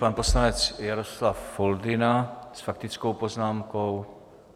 Pan poslanec Jaroslav Foldyna s faktickou poznámkou.